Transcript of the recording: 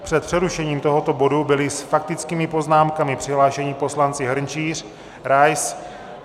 Před přerušením tohoto bodu byli s faktickými poznámkami přihlášeni poslanci Hrnčíř, Rais.